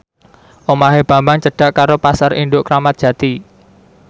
omahe Bambang cedhak karo Pasar Induk Kramat Jati